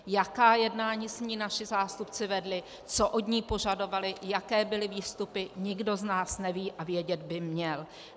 Jaká jednání s ní naši zástupci vedli, co od ní požadovali, jaké byly výstupy, nikdo z nás neví a vědět by měl.